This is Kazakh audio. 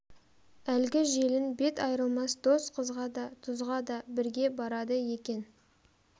әлгі желін бет айрылмас дос қызға да тұзға да бірге барады екен